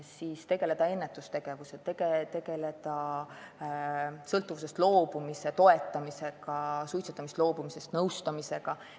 Samuti tuleb tegeleda ennetustööga ja toetada suitsetamisest loobumist nõustamisega.